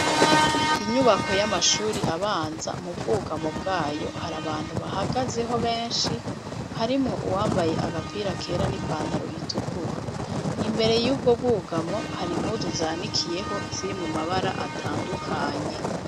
Inyubako y'abashuri abanza, mu bwugamo bwayo, hari abantu bahagazeho, benshi, harimwo uwambaye agapira kera, n'ipantaro itukura; imbere y'ubwo bwugamwo, hari impuzu zanikiyeho, ziri mu mabara atandukanye.